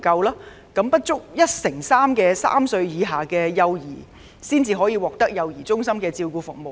現時，只有不足 13% 的3歲以下的幼兒獲得幼兒中心的照顧服務。